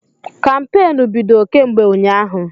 Kampeenụ́ bido kemgbe ụnyaahụ.